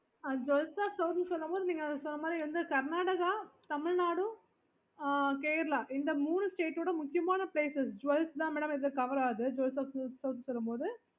எந்த பக்கம் லாம் cover பண்ணுவீங்க okay